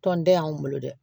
Tɔnden y'anw bolo dɛ